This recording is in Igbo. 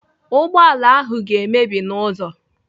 Ụgbọala ahụ ga-emebi n'ụzọ.